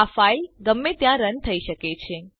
આ ફાઇલ ગમે ત્યાં રન થઇ શકે છે